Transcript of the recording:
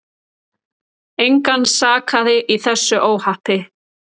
Engan sakaði í þessu óhappi.